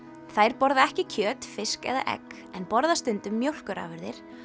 þær borða ekki kjöt fisk eða egg en borða stundum mjólkurafurðir